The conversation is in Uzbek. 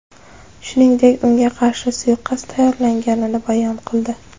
Shuningdek, unga qarshi suiqasd tayyorlanganini bayon qildi.